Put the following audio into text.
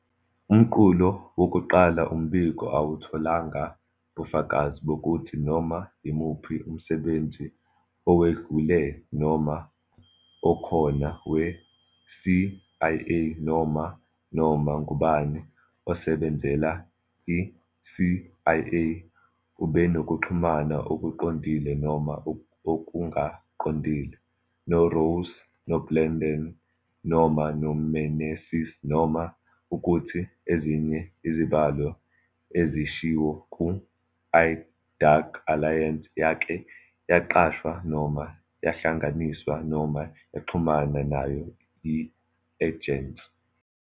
Umqulu wokuqala wombiko awutholanga bufakazi bokuthi "noma yimuphi umsebenzi owedlule noma okhona we-CIA, noma noma ngubani osebenzela i-CIA, ubenokuxhumana okuqondile noma okungaqondile" noRoss, Blandón, noma amaMeneses noma ukuthi ezinye izibalo ezishiwo ku "I-Dark Alliance" yake yaqashwa noma yahlanganiswa noma yaxhumana nayo yi-ejensi.